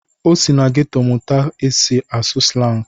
O si na geto mụta ka esi asụ slangu.